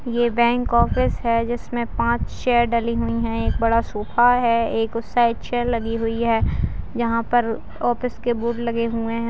ये bank office है जिसमें पाँच चेयर डली हुई हैं एक बड़ा सोफा है एक उस साइड चेयर लगी हुई हैं यहाँ पर ऑफिस के बोर्ड लगे हुए हैं ।